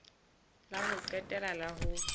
la ho qetela la ho